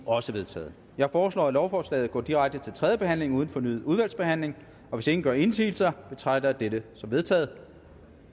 også vedtaget jeg foreslår at lovforslaget går direkte til tredje behandling uden fornyet udvalgsbehandling hvis ingen gør indsigelse betragter jeg det som vedtaget